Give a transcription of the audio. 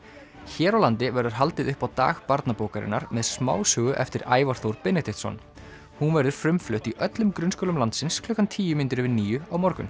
hér á landi verður haldið upp á dag barnabókarinnar með smásögu eftir Ævar Þór Benediktsson hún verður frumflutt í öllum grunnskólum landsins klukkan tíu mínútur yfir níu á morgun